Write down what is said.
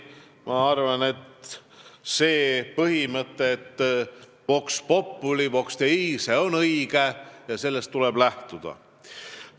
Ma arvan, et põhimõte "vox populi, vox Dei" on õige ja sellest tuleb lähtuda.